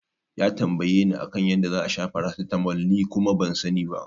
Ya tambayeni a kan yadda za'a sha paracetamol ni kuma ban sani ba.